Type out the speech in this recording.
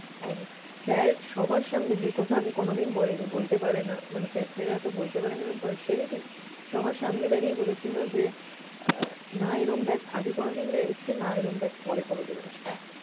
and sir সবার সামনে যে কথা আগে কোনও দিন বলেনি, বলতে পারে না মানে sir তারা তো বলতে পারেনা এমন partiality সবার সামনে দাঁড়িয়ে বলেছিল যে না এরকম batch আগে কোনদিন এসছে না এরকম batch পরে কোনদিন আসবে।